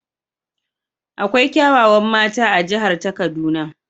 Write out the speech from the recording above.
Akwai kyawawan mata a jihar ta kaduna.